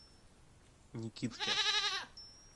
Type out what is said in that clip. никитке